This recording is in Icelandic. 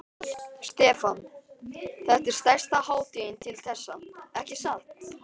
Stefán: Þetta er stærsta hátíðin til þessa, ekki satt?